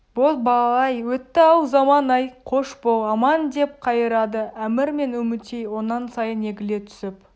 боз бала-ай өтті-ау заман-ай қош бол аман деп қайырады әмір мен үмітей онан сайын егіле түсіп